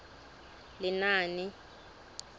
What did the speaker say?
lenaane